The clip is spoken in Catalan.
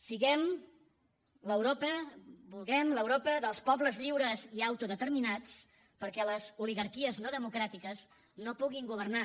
siguem l’europa vulguem l’europa dels pobles lliures i autodeterminats perquè les oligarquies no democràtiques no puguin governar